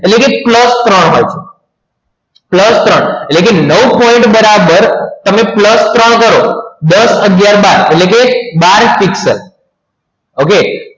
એટલે કે pulse ત્રણ pulse ત્રણ એટલે કે નવ point બરાબર તમે પ્રસરણ કરો દસ અગિયાર બાર એટલે કે બાર પિક્સલ okay